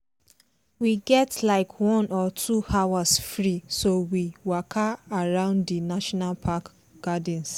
we get like one or two hours free so we waka around di national park gardens.